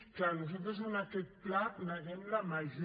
clar nosaltres en aquest pla neguem la major